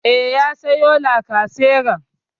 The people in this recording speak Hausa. E, ya sayo lacaseran.